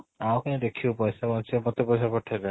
ଆଉ କାଇଁ ଦେଖିବୁ ପଇସା ବଞ୍ଚିବ ମତେ ପଇସା ପଠେଇ ଦେ